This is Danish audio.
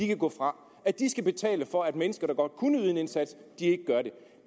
kan gå fra at de skal betale for at mennesker der godt kunne yde en indsats ikke gør det